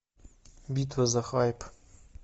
битва за хайп